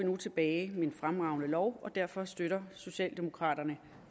tilbage med en fremragende lov derfor støtter socialdemokraterne